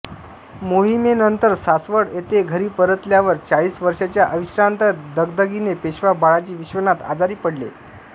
मोहिमेनंतर सासवड येथे घरी परतल्यावर चाळीस वर्षांच्या अविश्रांत दगदगगीने पेशवा बाळाजी विश्वनाथ आजारी पडले